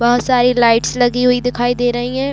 बहोत सारी लाइट्स लगी हुई दिखाई दे रही है।